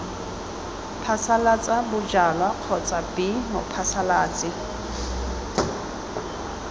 phasalatsa bojalwa kgotsa b mophasalatsi